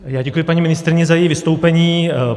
Já děkuji paní ministryni za její vystoupení.